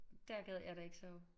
Dér gad jeg da ikke sove